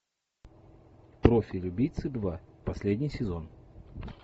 профиль убийцы два последний сезон